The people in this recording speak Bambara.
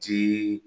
Ci